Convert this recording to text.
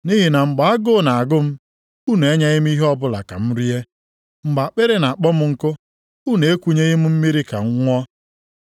Nʼihi na mgbe agụụ na-agụ m, unu enyeghị m ihe ọbụla ka m rie. Mgbe akpịrị na-akpọ m nkụ, unu ekunyeghị m mmiri ka m ṅụọ.